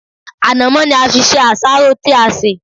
Ànàmọ́ ni a fi ṣe àsáró tí a ṣè.